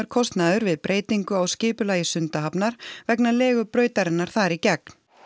kostnaður við breytingar á skipulagi Sundahafnar vegna legu brautarinnar þar í gegn